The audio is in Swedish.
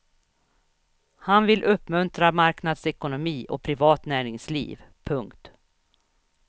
Han vill uppmuntra marknadsekonomi och privat näringsliv. punkt